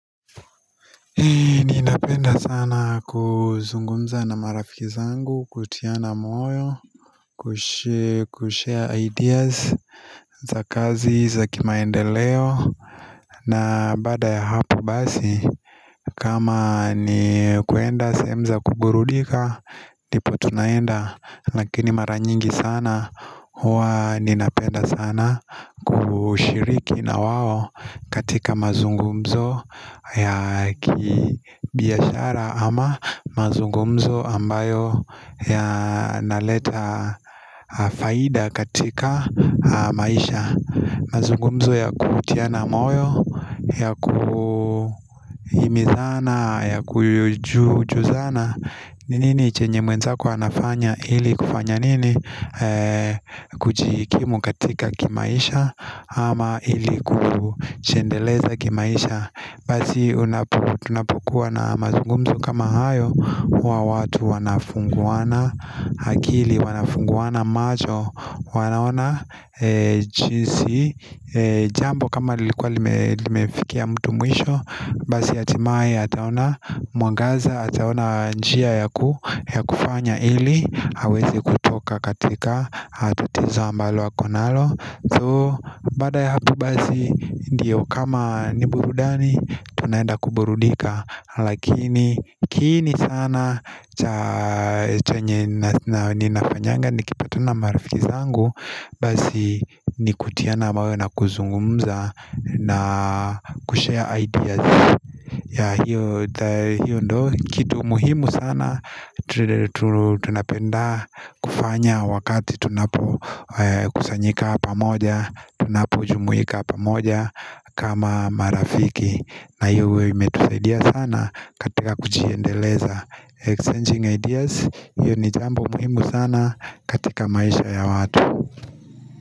Ninapenda sana kuzungumza na marafiki zangu kutiana moyo Kushare ideas za kazi za kimaendeleo na baada ya hapo basi kama ni kuenda sehemu za kuburudika ndipo tunaenda lakini mara nyingi sana huwa ninapenda sana kushiriki na wao katika mazungumzo ya kibiashara ama mazungumzo ambayo yanaleta faida katika maisha mazungumzo ya kutiana moyo, ya kuhimizana, ya kuju juzana ni nini chenye mwenzako anafanya ili kufanya nini kujikimu katika kimaisha ama ili kujiendeleza kimaisha Basi tunapokuwa na mazungumzo kama hayo huwa watu wanafunguana akili wanafunguana macho wanaona jinsi jambo kama lilikuwa limefikia mtu mwisho Basi hatimaye ataona mwangaza ataona njia yaku ya kufanya ili aweze kutoka katika tatizo ambalo ako nalo So baada ya hapo basi ndiyo kama ni burudani Tunaenda kuburudika Lakini kiini sana cha chenye na ninafanyanga Nikipatana na marafiki zangu Basi ni kutiana moyo na kuzungumza na kushare ideas ya hiyo kitu muhimu sana tunapenda kufanya wakati tunapokusanyika pamoja, tunapojumuika pamoja kama marafiki na hiyo huwa imetusaidia sana katika kujiendeleza exchanging ideas hiyo ni jambo muhimu sana katika maisha ya watu.